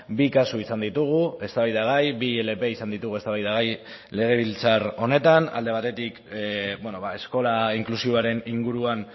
bi kasu izan ditugu eztabaidagai bi ilp izan ditugu eztabaidagai legebiltzar honetan alde batetik eskola inklusiboaren inguruan